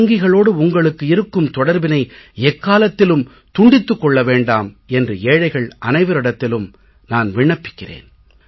வங்கிகளோடு உங்களுக்கு இருக்கும் தொடர்பினை எக்காலத்திலும் துண்டித்துக் கொள்ள வேண்டாம் என்று ஏழைகள் அனைவரிடத்திலும் நான் விண்ணப்பிக்கிறேன்